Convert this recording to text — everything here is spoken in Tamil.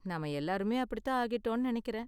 நாம எல்லாருமே அப்படி தான் ஆகிட்டோம்னு நெனைக்கிறேன்.